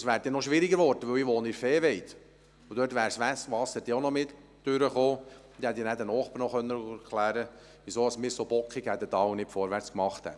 Es wäre dann noch schwieriger geworden, denn ich wohne in der Viehweide, wo das Wasser auch durchgekommen wäre, und dann hätte ich auch den Nachbarn noch erklären können, weshalb wir uns so bockig verhielten und nicht vorwärtsmachten.